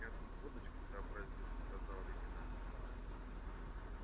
я тут водочки сообразил сказал лейтенант николай